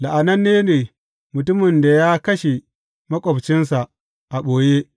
La’ananne ne mutumin da ya kashe maƙwabcinsa a ɓoye.